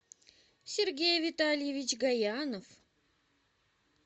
сергей витальевич гаянов